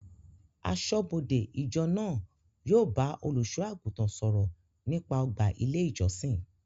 Aṣọ́bọdè ìjọ náà yóò bá olùsọ àgùntàn sọ̀rọ̀ nípa ọgbà ilé ìjọsìn